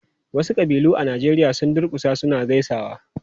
Wasu ƙabilu a Najeriya sun durkusa suna gaisawa.